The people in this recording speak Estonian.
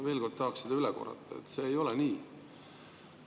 Veel kord tahaks üle korrata, et see ei ole nii.